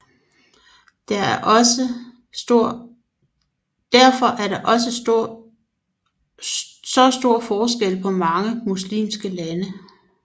Derfor er der også så stor forskel på mange muslimske lande